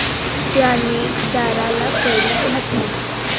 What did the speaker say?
त्याने दाराला कडी घातली.